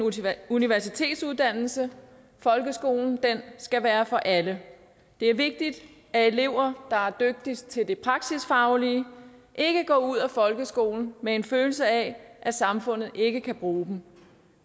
universitetsuddannelse folkeskolen skal være for alle det er vigtigt at elever der er dygtigst til det praksisfaglige ikke går ud af folkeskolen med en følelse af at samfundet ikke kan bruge dem